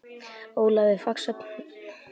Ólaf við Faxafen.